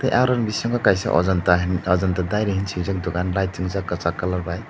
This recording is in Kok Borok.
tei aro ni bisingo kaisa ajanta hin ajanta dairy hin sijak dogan lai tanjak kesak colour bai.